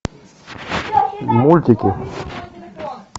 мультики